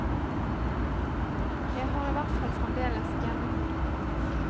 Jeg har i hvert fall fremdeles hjemmekontor.